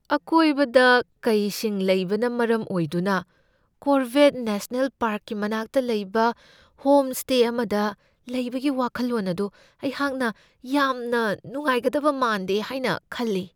ꯑꯀꯣꯏꯕꯗ ꯀꯩꯁꯤꯡ ꯂꯩꯕꯅ ꯃꯔꯝ ꯑꯣꯏꯗꯨꯅ ꯀꯣꯔꯕꯦꯠ ꯅꯦꯁꯅꯦꯜ ꯄꯥꯔꯛꯀꯤ ꯃꯅꯥꯛꯇ ꯂꯩꯕ ꯍꯣꯝꯁ꯭ꯇꯦ ꯑꯃꯗ ꯂꯩꯕꯒꯤ ꯋꯥꯈꯜꯂꯣꯟ ꯑꯗꯨ ꯑꯩꯍꯥꯛꯅ ꯌꯥꯝꯅ ꯅꯨꯡꯉꯥꯏꯒꯗꯕ ꯃꯥꯟꯗꯦ ꯍꯥꯏꯅ ꯈꯜꯂꯤ ꯫